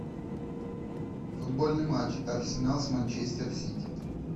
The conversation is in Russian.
футбольный матч арсенал с манчестер сити